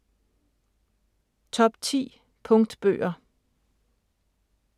Top 10 Punktbøger